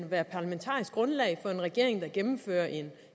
være parlamentarisk grundlag for en regering der gennemfører en